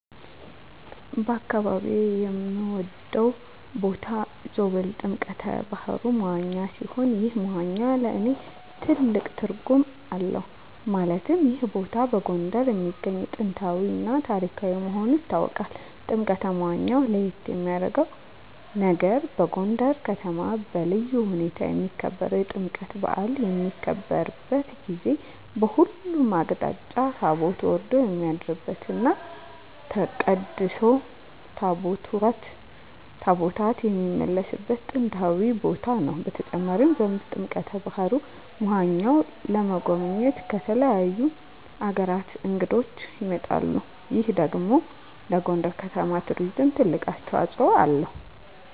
በአካባቢየ የምወደው ቦታ ዞብል ጥምቀተ ባህሩ (መዋኛ) ሲሆን ይህ መዋኛ ለእኔ ትልቅ ትርጉም አለው ማለትም ይህ ቦታ በጎንደር የሚገኝ ጥንታዊ እና ታሪካዊ መሆኑ ይታወቃል። ጥምቀተ መዋኛው ለየት የሚያረገው ነገር በጎንደር ከተማ በልዩ ሁኔታ የሚከበረው የጥምቀት በአል በሚከበርበት ጊዜ በሁሉም አቅጣጫ ታቦት ወርዶ የሚያድርበት እና ተቀድሶ ታቦታት የሚመለስበት ጥንታዊ ቦታ ነው። በተጨማሪም ዞብል ጥምቀተ በሀሩ (መዋኛው) ለመጎብኘት ከተለያዩ አገራት እንግዶች ይመጣሉ ይህ ደግሞ ለጎንደር ከተማ ለቱሪዝም ትልቅ አስተዋጽኦ አለው።